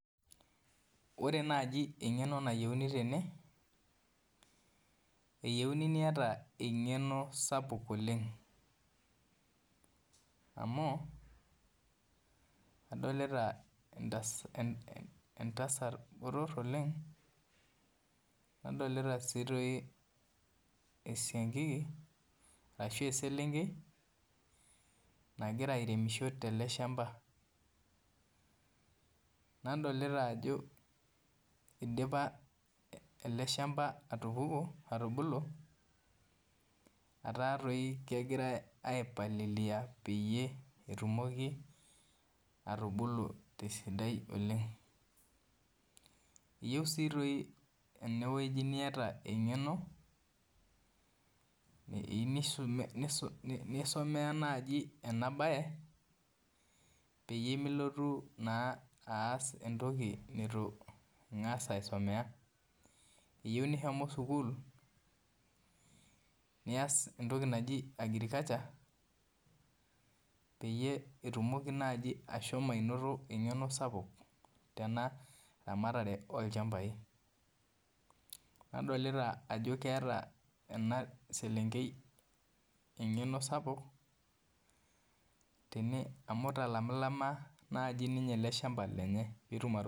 Ore naji engeno nayieuni tene eyieuni niata engeno sapuk oleng amu adolta entasat botor oleng nadolta si esiankiki ashu eselenkei navira aremisho teleshamba nadolta ajo idipa eleshamba atupuku neaku kegirai apialilia petumoki atubulu tesidai oleng ,eyieu si enewueji nieata engeno eyieu nisumia enabae peyie milotu aas entoki nitu ilo aisumea eyieu nishomo sukul nias entoki naji agriculture peyie etumoki nai ainoto engeno sapuk tenaramatare olchambai nadolta ajo keeta enaselenkei engeno sapuk amu italama nai eleshamba lenye pitum ai.